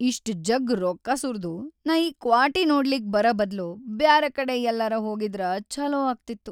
ಇಷ್ಟ್‌ ಜಗ್‌ ರೊಕ್ಕಾ ಸುರ್ದು ನಾ ಈ ಕ್ವಾಟಿ ನೋಡ್ಲಿಕ್ ಬರಬದ್ಲು ಬ್ಯಾರೆಕಡೆ ಯಲ್ಲರೆ ಹೋಗಿದ್ರ ಛೊಲೋ ಆಗ್ತಿತ್ತು.